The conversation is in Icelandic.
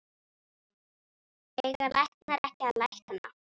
Eiga læknar ekki að lækna?